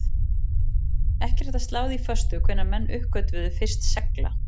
Ekki er hægt að slá því föstu hvenær menn uppgötvuðu fyrst segla.